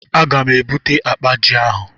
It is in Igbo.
A ga m e bute akpa ji ahụ.